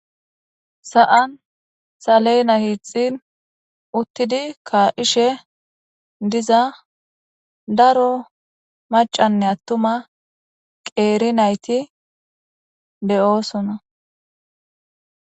sa7an saleyna hiixxin uttidi kaa7ishe diza daro macanne attuma qeeri nayti deyoosona